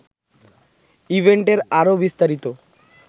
ইভেন্টের আরও বিস্তারিত